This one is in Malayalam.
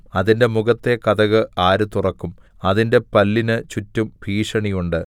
അതിന്റെ മുഖത്തെ കതക് ആര് തുറക്കും അതിന്റെ പല്ലിന് ചുറ്റും ഭീഷണി ഉണ്ട്